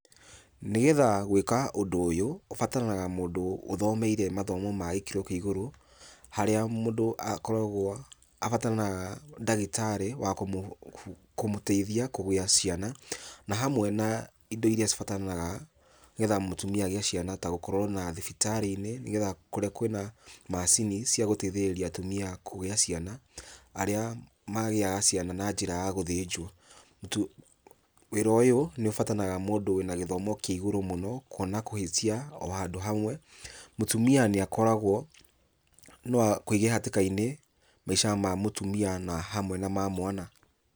Nĩgetha gwĩka ũndũ ũyũ, ũbataranaga mũndũ ũthomeire mathomo magĩkĩro kĩa igũrũ harĩa mũndũ akoragwo, abataranaga ndagĩtarĩ wa kũmũteithia kũgĩa ciana, na hamwe na indo irĩa cibataranaga, nĩgetha mũtumia agĩe ciana ta gũkorwo na thibitarĩ-inĩ, nĩgetha kũrĩa kwĩna macini ciagũteithĩrĩria atumia kũgia ciana. Arĩa magĩaga ciana na njĩra ya gũthĩnjwo tu. Wĩra ũyũ nĩũbataraga mũndũ wĩna gĩthomo kĩa igũrũ mũno, kuona kũhĩtia o handũ hamwe, mũtumia nĩakoragwo, no akũige hatĩka-inĩ maica ma mũtumia na hamwe na ma mwana.